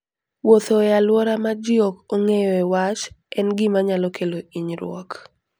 Wuotho e alwora ma ji ok ong'eyoe wach en gima nyalo kelo hinyruok.